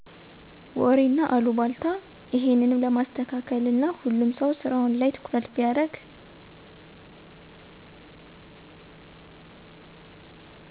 ወሬና አሉባልታ እሄንም ለማስተካለል እና ሁሉም ሰው ስራው ላይ ትኩረት ቢያርግ